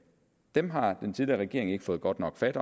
dem har den tidligere regering ikke fået godt nok fat